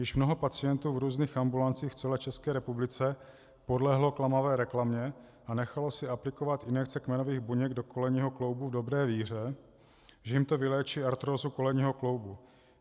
Již mnoho pacientů v různých ambulancích v celé České republice podlehlo klamavé reklamě a nechalo si aplikovat injekce kmenových buněk do kolenního kloubu v dobré víře, že jim to vyléčí artrózu kolenního kloubu.